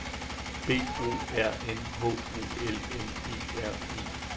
B O R N H O L M E R E